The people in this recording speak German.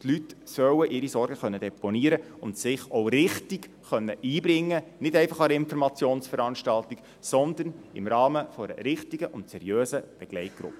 Die Leute sollen ihre Sorgen deponieren können und sich auch richtig einbringen können, nicht nur an einer Informationsveranstaltung, sondern im Rahmen einer richtigen und seriösen Begleitgruppe.